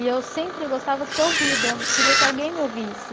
E eu sempre gostava de ser ouvida, queria que alguém me ouvisse.